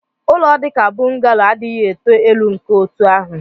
ụlọ dị ka bungalow adịghị eto elu nke otu ahụ